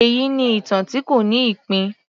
Èyí ni ìtàn tí kò ní ìpín